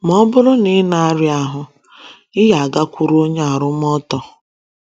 Ma ọ bụrụ na ịna aria ahụ,ị agakwuru onye arụ mọtọ